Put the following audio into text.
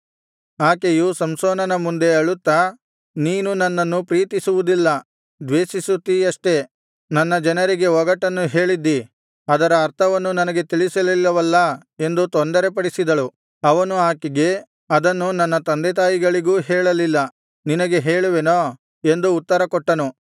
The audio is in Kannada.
ಆಕೆಯು ಸಂಸೋನನ ಮುಂದೆ ಅಳುತ್ತಾ ನೀನು ನನ್ನನ್ನು ಪ್ರೀತಿಸುವುದಿಲ್ಲ ದ್ವೇಷಿಸುತ್ತೀಯಷ್ಟೆ ನನ್ನ ಜನರಿಗೆ ಒಗಟನ್ನು ಹೇಳಿದ್ದೀ ಅದರ ಅರ್ಥವನ್ನು ನನಗೆ ತಿಳಿಸಲಿಲ್ಲವಲ್ಲಾ ಎಂದು ತೊಂದರೆಪಡಿಸಿದಳು ಅವನು ಆಕೆಗೆ ಅದನ್ನು ನನ್ನ ತಂದೆತಾಯಿಗಳಿಗೂ ಹೇಳಲಿಲ್ಲ ನಿನಗೆ ಹೇಳುವೆನೋ ಎಂದು ಉತ್ತರ ಕೊಟ್ಟನು